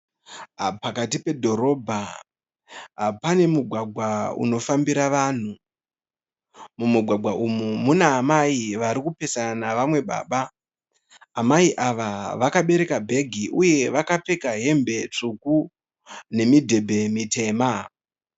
Pakati pedhorobha pane mugwagwa unofambira vanhu. Mumugwagwa umu muna amai vari kupesana nevamwe baba. Amai ava vakabereka bhegi uye vakapfeka hembe tsvuku nemidebhe mitema.